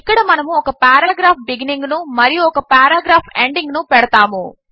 ఇక్కడ మనము ఒక పేరాగ్రాఫ్ బిగినింగ్ ను మరియు ఒక పేరాగ్రాఫ్ ఎండింగ్ ను పెడతాము